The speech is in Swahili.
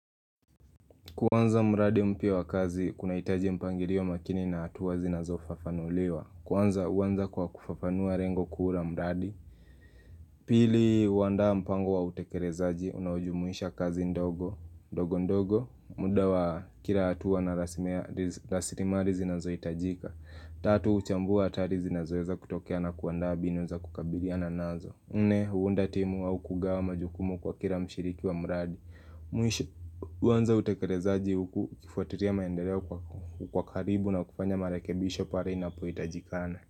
Kuanza mradi mpya wa kazi kunahitaji mpangilio makini na hatua zinazofafanuliwa Kwanza huanza kwa kufafanua lengo kuu la mradi Pili huanda mpango wa utekelezaji unaojumuisha kazi ndogo ndogo ndogo muda wa kila hatua na rasimali zinazohitajika Tatu huchambua hatari zinazoweza kutokea na kuanda mbinu za kukabilia na nazo nne huunda timu au kugawa majukumu kwa kila mshiriki wa mradi Mwisho huanza utekerezaji huku kufuatilia maendeleo kwa karibu na kufanya marekebisho pale inapohitajikana.